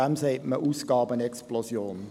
Dem sagt man Ausgabenexplosion.